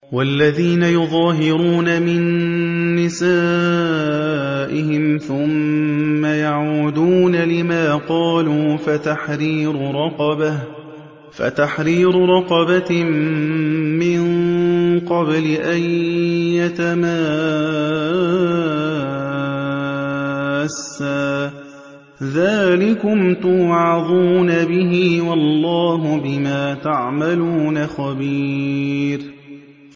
وَالَّذِينَ يُظَاهِرُونَ مِن نِّسَائِهِمْ ثُمَّ يَعُودُونَ لِمَا قَالُوا فَتَحْرِيرُ رَقَبَةٍ مِّن قَبْلِ أَن يَتَمَاسَّا ۚ ذَٰلِكُمْ تُوعَظُونَ بِهِ ۚ وَاللَّهُ بِمَا تَعْمَلُونَ خَبِيرٌ